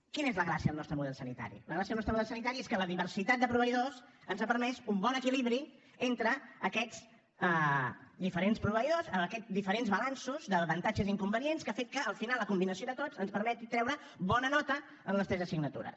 quina és la gràcia del nostre model sanitari la gràcia del nostre model sanitari és que la diversitat de proveïdors ens ha permès un bon equilibri entre aquests diferents proveïdors en aquests diferents balanços d’avantatges i inconvenients que ha fet que al final la combinació de tots ens permeti treure bona nota en les tres assignatures